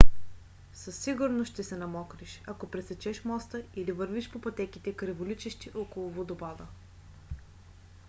със сигурност ще се намокриш ако пресечеш моста или вървиш по пътеките криволичещи около водопада